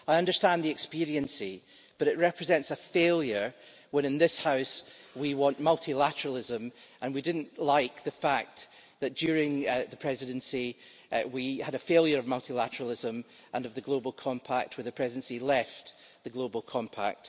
I understand the expediency, but it represents a failure when in this House we want multilateralism, and we didn't like the fact that, during the Presidency, we had a failure of multilateralism and of the global compact when the Presidency left the global compact.